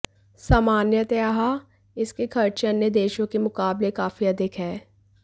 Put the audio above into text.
सामान्तयः इसके खर्चे अन्य देशों के मुकाबले काफी अधिक है